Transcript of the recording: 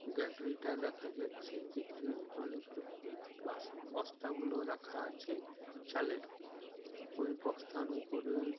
gallery টায় দেখা যাছে যেখানে অনেকগুলো বাস বস্তা গুলো রাখা আছে চালের ওই বস্তার ওপরেই--